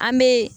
An bɛ